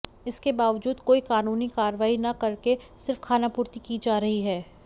इसके वाबजूद कोई कानूनी कार्यवाही न करके सिर्फ खानापूर्ति की जा रही है